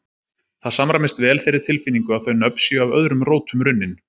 Það samræmist vel þeirri tilfinningu að þau nöfn séu af öðrum rótum runnin.